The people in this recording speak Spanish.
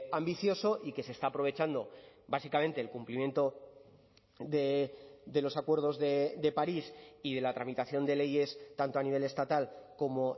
ambicioso y que se está aprovechando básicamente el cumplimiento de los acuerdos de parís y de la tramitación de leyes tanto a nivel estatal como